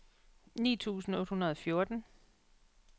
ni tusind otte hundrede og fjorten